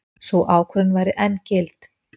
Sú ákvörðun væri enn gild.